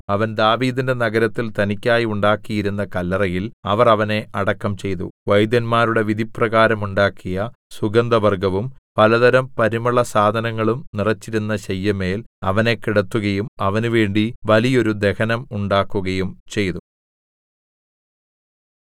അവൻ ദാവീദിന്റെ നഗരത്തിൽ തനിക്കായി ഉണ്ടാക്കിയിരുന്ന കല്ലറയിൽ അവർ അവനെ അടക്കം ചെയ്തു വൈദ്യന്മാരുടെ വിധിപ്രകാരം ഉണ്ടാക്കിയ സുഗന്ധവർഗ്ഗവും പലതരം പരിമളസാധനങ്ങളും നിറെച്ചിരുന്ന ശയ്യമേൽ അവനെ കിടത്തുകയും അവനുവേണ്ടി വലിയോരു ദഹനം ഉണ്ടാക്കുകയും ചെയ്തു